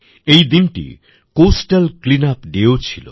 এই দিনটি কোস্টাল CleanupDayও ছিল